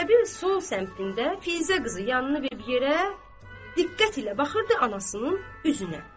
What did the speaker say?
Zeynəbin sol səmtində Füzə qızı yanını verib yerə, diqqət ilə baxırdı anasının üzünə.